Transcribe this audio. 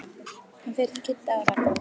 Hann fer til Kidda og Ragga.